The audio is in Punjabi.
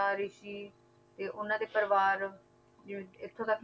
ਰਿਸ਼ੀ ਤੇ ਉਹਨਾਂ ਦੇ ਪਰਿਵਾਰ ਜਿਵੇਂ ਇੱਥੋਂ ਤੱਕ